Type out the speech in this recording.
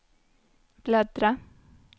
bläddra